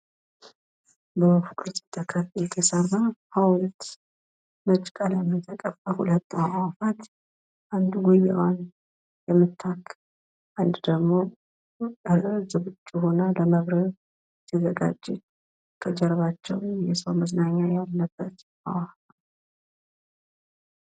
በወፍ ቅርፅ የተሰራ ሀውልት ነጭ ቀለም የተቀባ ሁለት አዋፋት አንድ ጎቢራዋን የምታክ አንዱ ደግሞ ለመብረር የተዘጋጄ ከጀርባቼው የሰው መዝናኛ ያለበት አዋፋት።